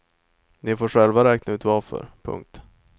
Ni får själva räkna ut varför. punkt